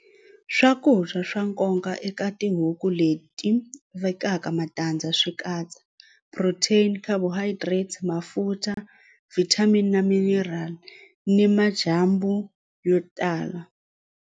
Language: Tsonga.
Swakudya swa nkoka eka tihuku leti vekaka matandza swi katsa protein carbohydrates mafutha vitamin na mineral ni madyambu yo tala.